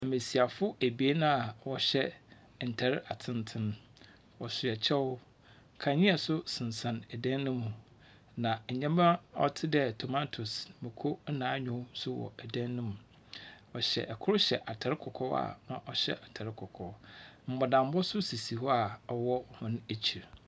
Mbesiafo ebien a wɔhyɛ ntar atsentsen. Wɔhya kyɛw. Kandzea nso sensɛn dan no mu. Na ndzɛmba a ɔte dɛ tomatoes. Mako na anyoo nso wɔ dan no mu. Wɔhyɛ kor hyɛ atar kɔkɔɔ a na ɔhyɛ atar kɔkɔɔ. Mbɔlambɔ nso ssisi hɔ a ɔwɔ hɔn ekyir.